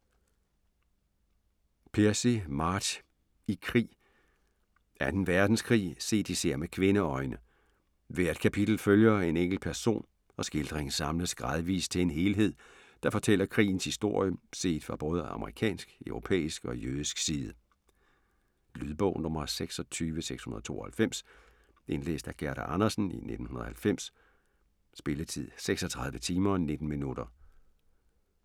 Piercy, Marge: I krig 2. verdenskrig, set især med kvindeøjne. Hvert kapitel følger en enkelt person, og skildringen samles gradvis til en helhed, der fortæller krigens historie, set fra både amerikansk, europæisk og jødisk side. Lydbog 26692 Indlæst af Gerda Andersen, 1990. Spilletid: 36 timer, 19 minutter.